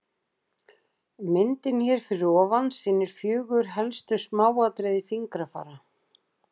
Myndin hér fyrir ofan sýnir fjögur helstu smáatriði fingrafara.